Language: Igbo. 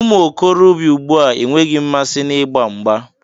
Umuokorobia ùgbúà enweghị mmasị na ịgba mgbà.